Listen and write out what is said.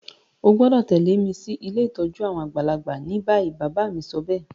O gbọ́dọ̀ tẹ̀lẹ́ mi si ilé ìtójú àwon àgbàlagbà ni bayi. Bàbá mi sobéè